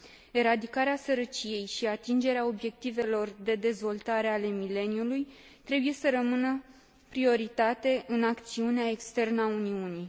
Eradicarea sărăciei și atingerea Obiectivelor de Dezvoltare ale Mileniului trebuie să rămână o prioritate în acțiunea externă a Uniunii.